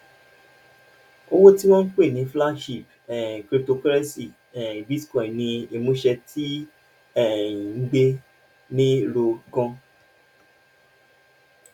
owó tí wọn ń pè ní flagship um cryptocurrency um bitcoin ní ìmúṣẹ tó um ń gbéni ró ganan